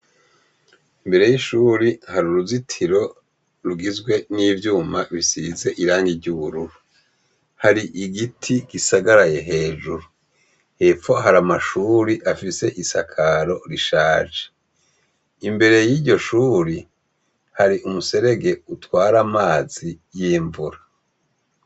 Imbere y’ishure hari uruzitiro rugizwe n’ivyuma bisize irangi ry’ubururu. Hari igiti gisagaraye hejuru. Hepfo hari amashure afise isakaro rishaje. Imbere y’iryo shure hari umuserege utwara amazi y’imvura.